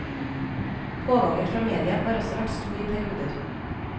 Pågangen fra media har også vært stor i perioder.